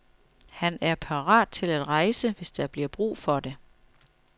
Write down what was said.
Han er parat til at rejse, hvis der bliver brug for det.